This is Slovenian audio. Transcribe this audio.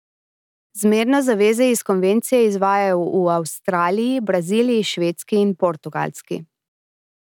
Zmerno zaveze iz konvencije izvajajo v Avstraliji, Braziliji, Švedski in Portugalski.